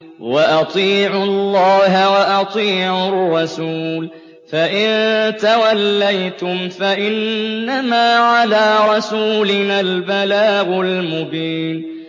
وَأَطِيعُوا اللَّهَ وَأَطِيعُوا الرَّسُولَ ۚ فَإِن تَوَلَّيْتُمْ فَإِنَّمَا عَلَىٰ رَسُولِنَا الْبَلَاغُ الْمُبِينُ